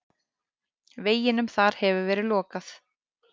Veginum þar hefur verið lokað.